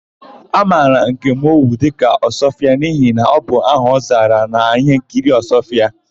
A mara Nkem Owo dịka Ọsụọfịa n'ihi na ọ bụ aha ọ zara n'íhénkiri Ọsụọfịa.